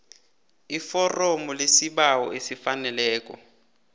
iforomo lesibawo elifaneleko